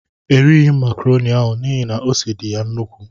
Erighi mụ macroni ahụ n'ihi na ose dị ya nnukwu.